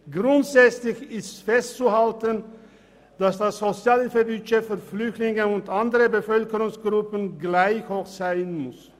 Grundsätzlich ist festzuhalten, dass das Sozialhilfebudget für Flüchtlinge und andere Bevölkerungsgruppen gleich hoch sein muss.